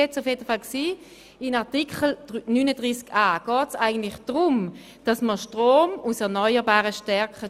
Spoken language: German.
In Artikel 39a geht es eigentlich darum, dass der Strom aus erneuerbaren Energien gestärkt wird.